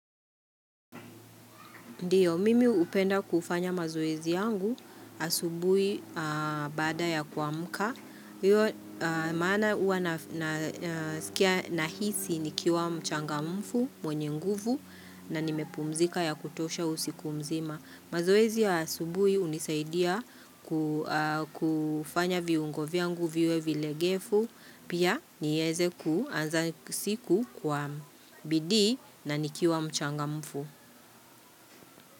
Ndio, mimi hupenda kufanya mazoezi yangu asubuhi baada ya kuamka. Iyo, maana huwa nasikia nahisi nikiwa mchangamfu, mwenye nguvu, na nimepumzika ya kutosha usiku mzima. Mazoezi ya asubuhi hunisaidia kufanya viungo vyangu viwe vilegefu, pia niweze kuanza siku kwa bidii na nikiwa mchangamfu.